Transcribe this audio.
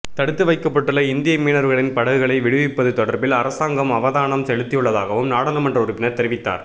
தடுத்து வைக்கப்பட்டுள்ள இந்திய மீனவர்களின் படகுகளை விடுவிப்பது தொடர்பில் அரசாங்கம் அவதானம் செலுத்தியுள்ளதாகவும் நாடாளுமன்ற உறுப்பினர் தெரிவித்தார்